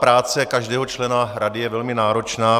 Práce každého člena rady je velmi náročná.